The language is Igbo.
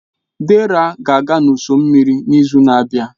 Dera ga-aga n'ụsọ osimiri n'izu na-abịa.